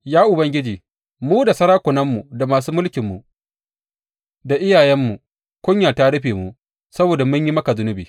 Ya Ubangiji, mu da sarakunanmu, da masu mulkinmu da iyayenmu kunya ta rufe mu saboda mun yi maka zunubi.